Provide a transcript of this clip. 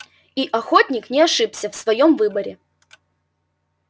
и охотник не ошибся в своём выборе